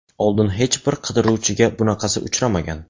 Oldin hech bir qidiruvchiga bunaqasi uchramagan.